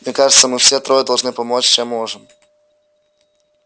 мне кажется мы все трое должны помочь чем можем